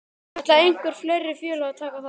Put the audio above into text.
Ætla einhver fleiri félög að taka þátt?